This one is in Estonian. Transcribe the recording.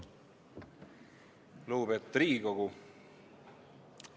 Lugupeetud Riigikogu!